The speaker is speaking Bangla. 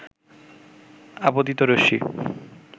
আপতিত রশ্মি